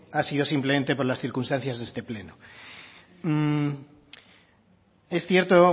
ha sido simplemente por las circunstancias de este pleno es cierto